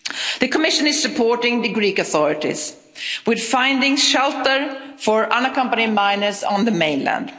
The Commission is supporting the Greek authorities with finding shelter for unaccompanied minors on the mainland.